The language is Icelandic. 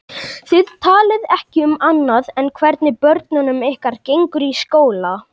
Þið talið ekki um annað en hvernig börnunum ykkar gengur í skóla.